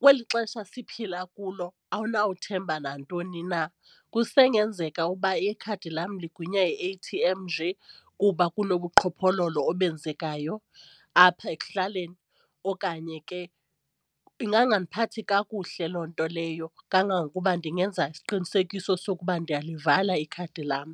kweli xesha siphila kulo awunawuthemba nantoni na. Kusengenzeka uba ikhadi lam ligwinywa yi-A_T_M nje kuba kunobuqhophololo obenzekayo apha ekuhlaleni okanye ke ingangandiphathi kakuhle loo nto leyo kangangokuba ndingenza isiqinisekiso sokuba ndiyalivala ikhadi lam.